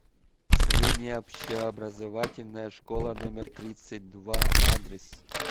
средняя общеобразовательная школа номер тридцать два адрес